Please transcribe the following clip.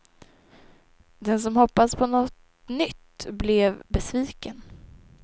Den som hoppats på något nytt blev besviken.